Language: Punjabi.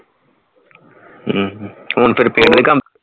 ਹਮ ਹਮ ਹੁਣ ਤੇਰੇ paint ਦੇ ਕੱਮ